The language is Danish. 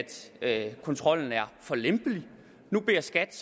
at kontrollen er for lempelig nu beder skat